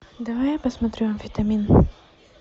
давай я посмотрю амфитамин